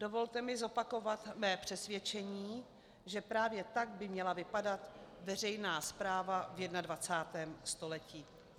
Dovolte mi zopakovat své přesvědčení, že právě tak by měla vypadat veřejná správa v 21. století.